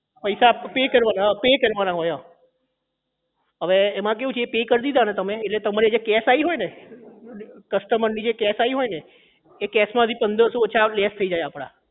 પૈસા pay કરવાના pay કરવાના હોય અવે એમાં એ કેવું છે એ pay કરી દેવાનું હોય એટલે તમારી જે cash આઈ હોય ને customer ની જે cash આઈ હોય ને એ cash માંથી પંદર સો ઓછા એ less થઇ જાય આપણા